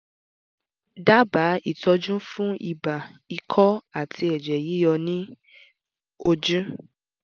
dábàá ìtọ́jú fún ibà ikọ́ àti ẹ̀jẹ̀ yíyọ ní ojú?